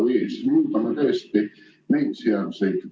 Või siis muudame tõesti neid seaduseid.